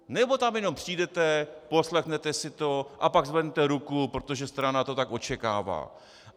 Nebo tam jenom přijdete, poslechnete si to a pak zvednete ruku, protože strana to tak očekává?